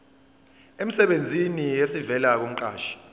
emsebenzini esivela kumqashi